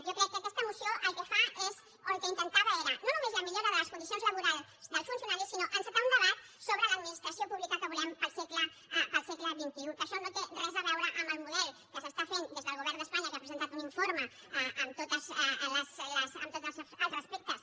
jo crec que aquesta moció el que fa és o el que intentava era no només la millora de les condicions laborals dels funcionaris sinó encetar un debat sobre l’administració pública que volem per al segle xxi que això no té res a veure amb el model que s’està fent des del govern d’espanya que ha presentat un informe amb tots els respectes